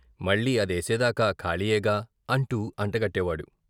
మళ్ళీ అదేసేదాకా ఖాళీయేగా " అంటూ అంటగట్టేవాడు.